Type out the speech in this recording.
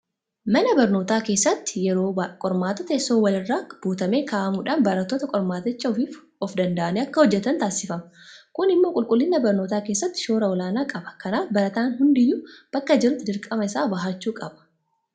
Mana barnootaa keessatti yeroo qormaataa teessoon wal irraa butamee kaa'amuudhaan barattoonni qormaaticha ofiif ofdanda'anii akka hojjetan taasifama. Kun immoo qulqullina barnootaa keessatti shoora olaanaa qaba. Kanaaf barataan hundiyyuu bakka jirutti dirqama isaa bahachuu qaba.